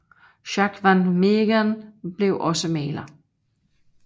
Jacques van Meegeren blev også maler